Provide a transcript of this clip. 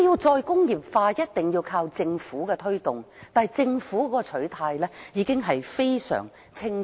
"再工業化"必須靠政府推動，但政府的取態已非常清楚。